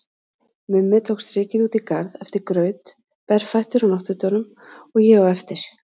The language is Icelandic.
Mummi tók strikið út í garð eftir graut, berfættur á náttfötunum, og ég á eftir.